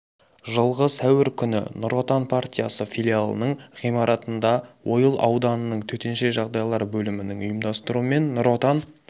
жылғы сәуір күні нұр отан партиясы филиалының ғимаратында ойыл ауданының төтенше жағдайлар бөлімінің ұйымдастыруымен нұр отан